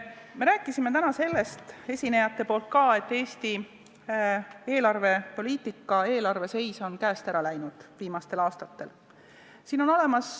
Me rääkisime täna sellest, eelnevad esinejad ka, et Eesti eelarvepoliitika ja eelarve seis on viimastel aastatel käest ära läinud.